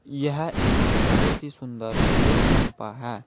यह एक बहुत ही सुंदर तेल पंप है।